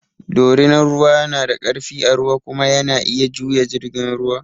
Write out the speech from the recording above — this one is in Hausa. Dorinan ruwa na da ƙarfi a ruwa kuma yana iya juya jirgin ruwa.